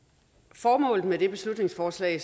formålet med det beslutningsforslag